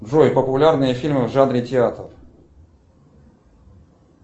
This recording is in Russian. джой популярные фильмы в жанре театр